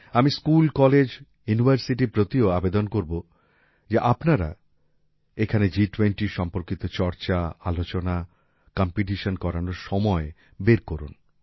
আমি school college ইউনিভারসিটির প্রতিও আবেদন করব যে আপনারা এখানে G20 সম্পর্কিত চর্চা আলোচনা কম্পিটিশন করানোর সময় বের করুন